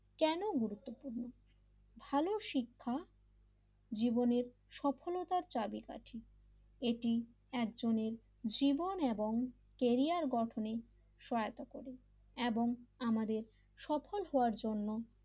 ভালো শিক্ষা জীবনের সফলতার চাবিকাঠি এটি একজনের জীবন এবং কেরিয়ার গঠনের সহায়তা করে এবং আমাদের সফল হওয়ার জন্য,